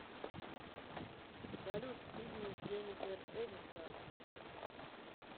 салют фильмы с дженифер энистон